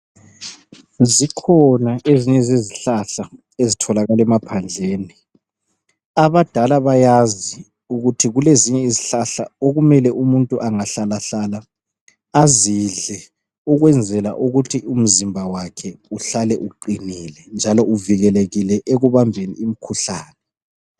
Zikhona ezinye zezihlahla ezitholakala emaphandleni .Abadala bayazi ukuthi kulezinye izihlahla okumele umuntu angahlalahlala azidle ukuthi uhlale uqinile njalo uvikelekile ekubambeni imikhuhlane.